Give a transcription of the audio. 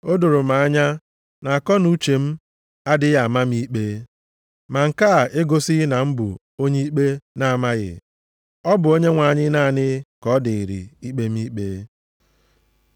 O doro m anya na akọnuche m adịghị ama m ikpe, ma nke a egosighị na m bụ onye ikpe na-amaghị. Ọ bụ Onyenwe anyị naanị ka ọ dịrị ikpe m ikpe.